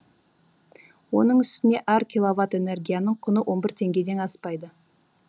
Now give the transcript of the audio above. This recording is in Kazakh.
оның үстіне әр киловатт энергияның құны он бір теңгеден аспайды